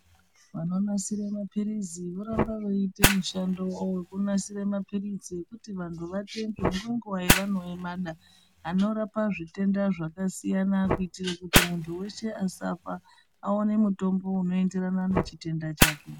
Vanonasire maphirizi vorambe vechiite mushando wavo wekunasire maphiritsi ekuti vantu vatenge ngenguva yevanomada, anorapa zvitenda zvakasiyana-siyana kuitire kuti muntu wese asafa, aone mutombo unoenderana nechitenda chake.